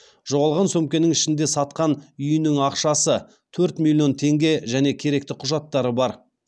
жоғалған сөмкенің ішінде сатқан үйімнің ақшасы төрт миллион теңге және керекті құжаттары бар